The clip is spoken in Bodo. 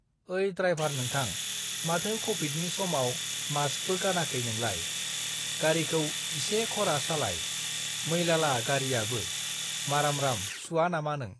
ओइ, द्रायभार (driver) नोंथां, माथो कभिडनि (covid) समाव मास्कबो (mask) गानाखै नोंलाय। गारिखौ इसे खरा सालाय, मैलाला गारियाबो, मारामराम सुवा नामा नों?